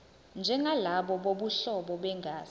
njengalabo bobuhlobo begazi